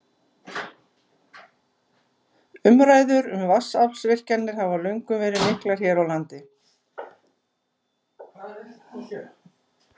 Umræður um vatnsaflsvirkjanir hafa löngum verið miklar hér á landi.